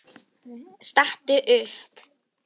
Stattu upp!